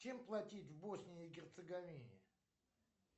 чем платить в боснии и герцеговине